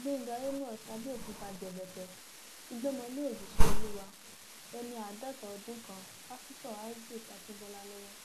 gbẹngà àmos abéòkúta jẹbẹtẹ ti gbọmọ lé òjíṣẹ olúwa ẹni àádọta ọdún kan pásítọ isaac akínbọlá lọwọ